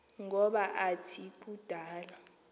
ngoba athi kudala